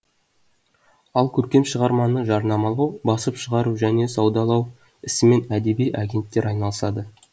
ал көркем шығарманы жарнамалау басып шығару және саудалау ісімен әдеби агенттер айналысады